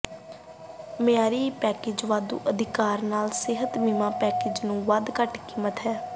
ਮਿਆਰੀ ਪੈਕੇਜ ਵਾਧੂ ਅਧਿਕਾਰ ਨਾਲ ਸਿਹਤ ਬੀਮਾ ਪੈਕੇਜ ਨੂੰ ਵੱਧ ਘੱਟ ਕੀਮਤ ਹੈ